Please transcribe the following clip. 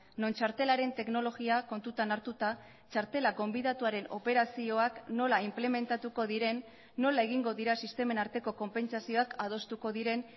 non txartelaren teknologia kontutan hartuta txartela gonbidatuaren operazioak nola inplementatuko diren nola egingo dira sistemen arteko konpentsazioak adostuko diren